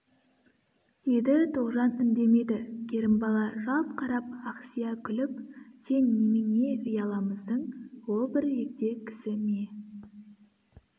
деді тоғжан үндемеді керімбала жалт қарап ақсия күліп сен немене ұяламысың ол бір егде кісі ме